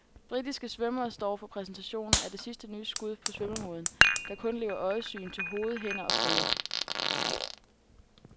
Britiske svømmere står for præsentationen af det sidste nye skud på svømmemoden, der kun lever øjesyn til hoved, hænder og fødder.